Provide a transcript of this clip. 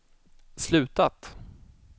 slutat